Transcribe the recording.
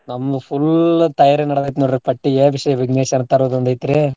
ನಮ್ಮ್ full ತಯಾರಿ ನಡ್ದೇತ್ ನೋಡ್ರಿ ಪಟ್ಟಿ ಎಬ್ಸಿ ವಿಘ್ನೇಶ್ವರನ್ ತರೋದ್ ಒಂದ್ ಐತ್ರೀ.